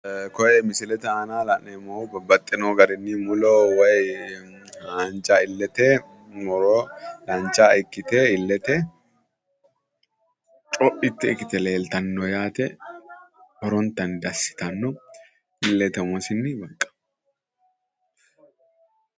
Koye misilete aana la'neemmohu babbaxino garinni muro woy haanja illete muro dancha ikkite illete co'itte ikkite leeltanni no yaate horontanni dassi yitanno illete umosinni baqqa